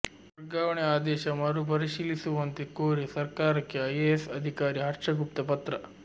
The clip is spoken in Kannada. ವರ್ಗಾವಣೆ ಆದೇಶ ಮರುಪರಿಶೀಲಿಸುವಂತೆ ಕೋರಿ ಸರ್ಕಾರಕ್ಕೆ ಐಎಎಸ್ ಅಧಿಕಾರಿ ಹರ್ಷ ಗುಪ್ತ ಪತ್ರ